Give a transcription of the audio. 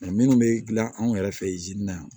minnu bɛ dilan anw yɛrɛ fɛ